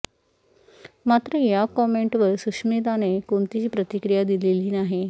मात्र या कॉमेंटवर सुष्मिताने कोणतीही प्रतिक्रिया दिलेली नाही